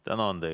Tänan!